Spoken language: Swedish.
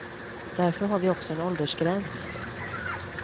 Därför har vi också en åldersgräns.